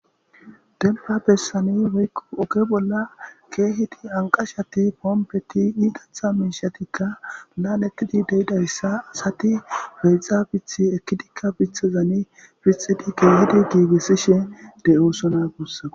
denfa bessani weykko oke bolla keehidi anqashati poompeti iigatha miishatikka laan ekkidi deydayssa asati beexa bithi ekkidikka bithazani fixidi keehidi giigissishe de7oosona gussaka